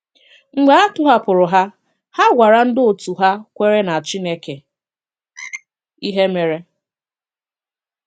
Mgbe a tọ̀hapụrụ̀ ha, ha gwàrà ndị otú hà kwèré na Chineke ihe mèrè.